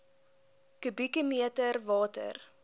kubieke meter water